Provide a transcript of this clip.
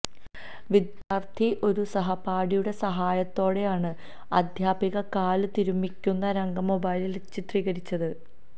വിദ്യാര്ത്ഥി ഒരു സഹപാഠിയുടെ സഹായത്തോടെയാണ് അദ്ധ്യാപിക കാല് തിരുമ്മിക്കുന്ന രംഗം മൊബൈലില് ചിത്രീകരിച്ചത്